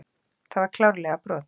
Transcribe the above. Það var klárlega brot.